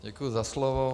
Děkuji za slovo.